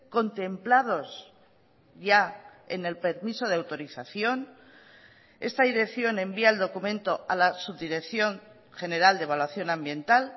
contemplados ya en el permiso de autorización esta dirección envía el documento a la subdirección general de evaluación ambiental